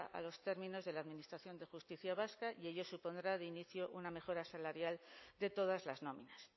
a los términos de la administración de justicia vasca y ello supondrá de inicio una mejora salarial de todas las nóminas